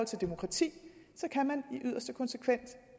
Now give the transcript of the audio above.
til demokrati så kan man i yderste konsekvens